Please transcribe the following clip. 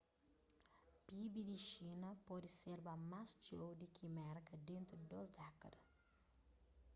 pib di xina pode serba más txeu di ki merka dentu di dôs dékada